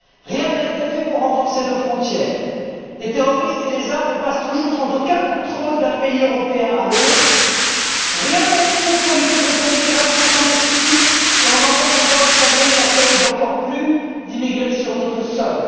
Rien n'a été fait pour renforcer nos frontières. Les terroristes et les armes passent toujours sans aucun contrôle d'un pays européen à l'autre. Rien n'a été fait pour lutter contre l'immigration clandestine et on entend des voix réclamer l'accueil d'encore plus d'immigrés sur notre sol.